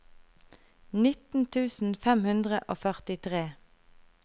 nitten tusen fem hundre og førtitre